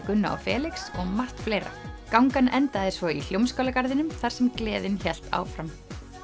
Gunna og Felix og margt fleira gangan endaði svo í Hljómskálagarðinum þar sem gleðin hélt áfram